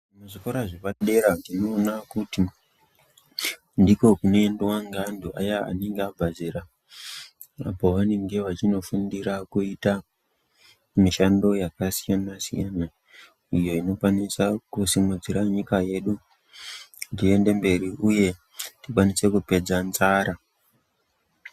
Zvikora zvepadera tinoona kuti ndiko kunoendwa ngeantu aya anenge abva zera, apo vanenge vachinofundira kuita mishando yakasiyana siyana, iyo inokwanisa kusimudzira nyika yedu kuti iende mberi uye tikwanise kupedza nzara.